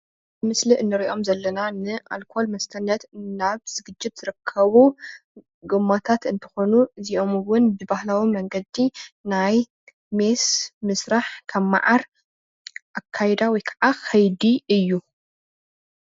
ምስሊ እንሪኦም ዘለና ንአልኮል መስተነት ናብ ዝግጅት ዝርከቡ ጎማታት እንትኮኑ እዚኦም እውን ብባህላዊ መንገዲ ናይ ሜስ ምስራሕ ካብ ማዓር አካይዳ ወይ ከይዲ እዩ፡፡